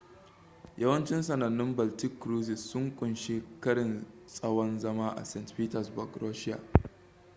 yawancin sanannun baltic cruises sun ƙunshi karin tsawan zama a st petersburg russia